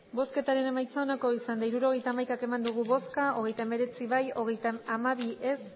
hirurogeita hamaika eman dugu bozka hogeita hemeretzi bai hogeita hamabi ez